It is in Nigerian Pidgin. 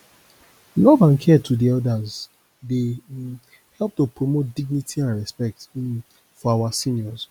love and care to di elders dey um help to promote dignity and respect um for our seniors